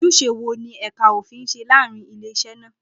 Ojúṣe wo ni ẹ̀ka òfin ń ṣe láàárín ilé-iṣẹ́ náà?